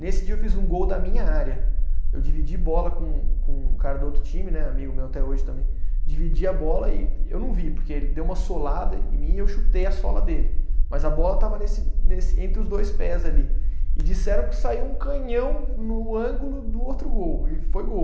Nesse dia eu fiz um gol da minha área, eu dividi bola com com um cara do outro time né, amigo meu até hoje também, dividi a bola e e, eu não vi, porque ele deu uma solada em mim e eu chutei a sola dele, mas a bola estava nesse nesse, entre os dois pés ali, e disseram que saiu um canhão no ângulo do outro gol, e foi gol.